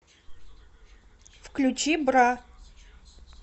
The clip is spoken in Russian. включи бра